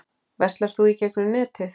Verslar þú í gegnum netið?